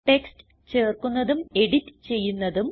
text ചേർക്കുന്നതും edit ചെയ്യുന്നതും